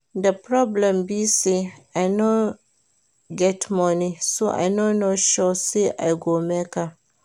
The problem be say I no get money so I no sure say I go make am